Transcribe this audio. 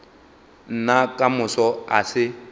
nna ka moso a se